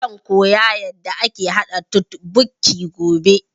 Zan koya yanda ake haɗa totbokki gobe